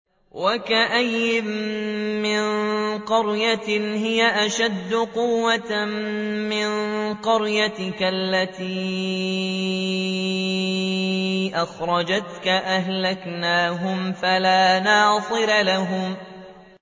وَكَأَيِّن مِّن قَرْيَةٍ هِيَ أَشَدُّ قُوَّةً مِّن قَرْيَتِكَ الَّتِي أَخْرَجَتْكَ أَهْلَكْنَاهُمْ فَلَا نَاصِرَ لَهُمْ